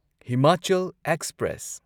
Himachal express